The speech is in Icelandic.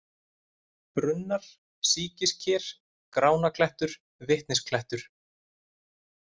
Brunnar, Síkisker, Gránaklettur, Vitnisklettur